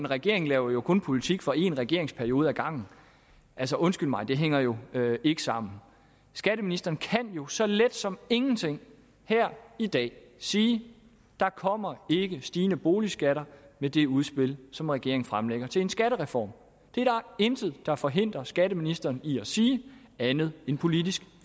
regeringen jo kun laver politik for en regeringsperiode ad gangen altså undskyld mig det hænger jo ikke sammen skatteministeren kan jo så let som ingenting her i dag sige der kommer ikke stigende boligskatter med det udspil som regeringen fremlægger til en skattereform det er der intet der forhindrer skatteministeren i at sige andet end politisk